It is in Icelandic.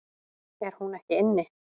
Er hún ekki inni?